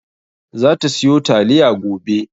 Za ta siyo taliya gobe.